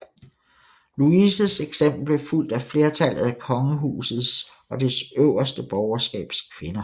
Louises eksempel blev fulgt af flertallet af kongehusets og det øverste borgerskabs kvinder